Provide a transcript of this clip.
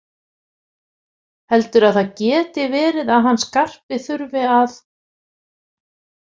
Heldurðu að það geti verið að hann Skarpi þurfi að.